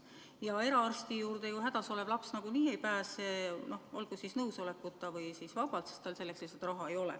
Ja eraarsti juurde ju hädas olev laps nagunii ei pääse, olgu vanema nõusolekul või ilma selleta – tal lihtsalt ei ole selleks raha.